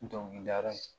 N dɔnkili dala